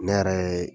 Ne yɛrɛ ye